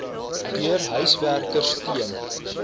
deur huiswerkers teen